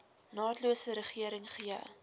naatlose regering gee